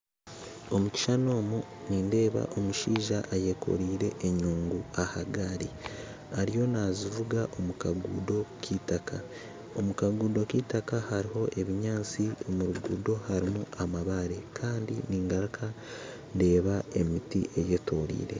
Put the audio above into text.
Omukishushani omu nindeeba omushaija ayekoreire enyungu ahagari ariyo nazivuga omukagudo k'itaka, omukagudo k'itaka haruho ebinyantsi omurugudo harumu amabaare Kandi ningaruka ndeeba emiti eyetoreire.